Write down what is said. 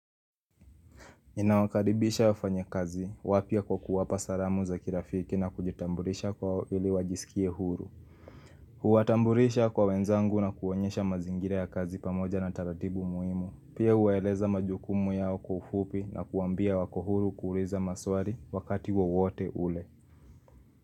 Ninawakaribisha wafanyakazi wapya kwa kuwapa salamu za kirafiki na kujitamburisha kwao ili wajisikie huru Huwatamburisha kwa wenzangu na kuwaonyesha mazingira ya kazi pamoja na taratibu muimu Pia huwaeleza majukumu yao kwa ufupi na kuwaambia wako huru kuuliza maswari wakati wawote ule.